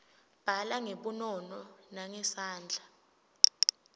bhala ngebunono nangesandla